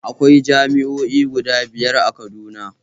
Akwai jami'o'i guda biyar a Kaduna